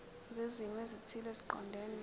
zezimo ezithile eziqondene